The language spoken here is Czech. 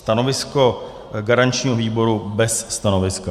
Stanovisko garančního výboru - bez stanoviska.